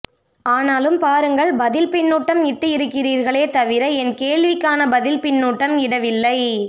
ஆனாலும் பாருங்கள் பதில் பின்னூட்டம் இட்டு இருக்கிறீர்களே தவிர என் கேள்விக்கான பதில் பின்னூட்டம் இடவில்லை